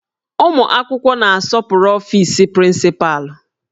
Ụmụ akwụkwọ na-asọpụrụ ọfis prịncịpalụ